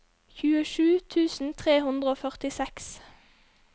tjuesju tusen tre hundre og førtiseks